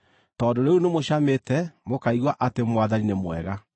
tondũ rĩu nĩmũcamĩte, mũkaigua atĩ Mwathani nĩ mwega.